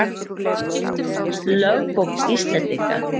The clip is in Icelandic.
Lögbók Íslendinga.